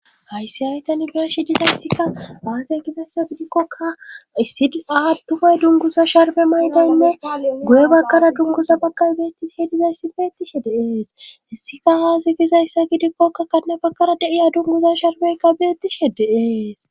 hayssi hay tan beeshi dizayssika haase gizayssa gidikkoka issi aattumay dunguza sharbe maydenne goye bakkara dungusa bakar beettishihe dizayssi beettishe deeeshessika haase gizayssa gidikkokka kanna bakkara deiya dunguza sharbeyka beettishe deees